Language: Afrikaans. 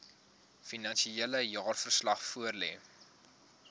finansiële jaarverslag voorlê